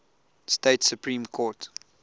state supreme court